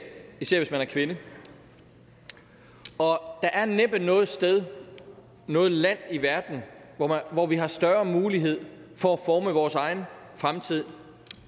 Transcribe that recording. især hvis man er kvinde og der er næppe noget sted noget land i verden hvor vi har større mulighed for at forme vores egen fremtid